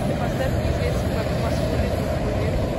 джой поставь неизвестен как маскулин маскулин